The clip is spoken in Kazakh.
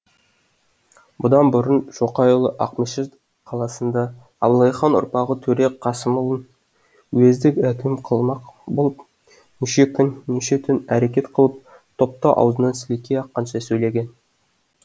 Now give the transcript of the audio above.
бұдан бұрын шоқайұлы ақмешіт қаласында абылайхан ұрпағы төре қасымұлын уездік әкім қылмақ болып неше күн неше түн әрекет қылып топта аузынан сілекей аққанша сөйлеген